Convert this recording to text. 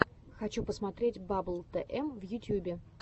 хочу посмотреть баббл тм в ютьюбе